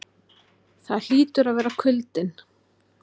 Það hlýtur að vera kuldinn.